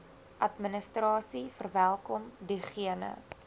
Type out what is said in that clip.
administrasie verwelkom diegene